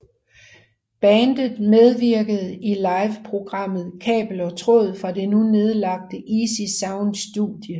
Bandet medvirkede i live programmet Kabel og Tråd fra det nu nedlagte Easy Sound studie